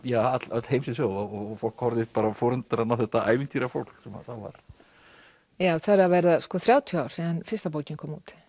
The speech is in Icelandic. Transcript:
öll heimsins höf og fólk horfði í forundran á þetta ævintýrafólk sem þá var það eru að verða þrjátíu ár síðan fyrsta bókin kom út